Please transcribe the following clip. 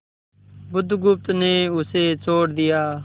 बुधगुप्त ने उसे छोड़ दिया